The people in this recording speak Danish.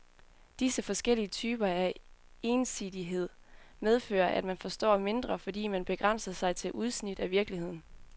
Disse forskellige typer af ensidighed medfører, at man forstår mindre, fordi man begrænser sig til udsnit af virkeligheden.